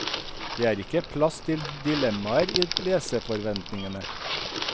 Det er ikke plass til dilemmaer i leserforventningene.